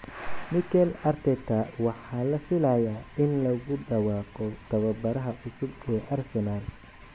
Mikel Arteta: Waxa la filayaa in lagu dhawaaqo tababaraha cusub ee Arsenal